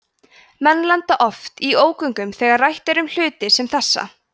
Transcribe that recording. menn lenda oft í ógöngum þegar rætt er um hluti sem þessa